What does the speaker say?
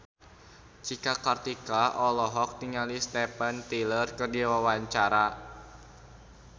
Cika Kartika olohok ningali Steven Tyler keur diwawancara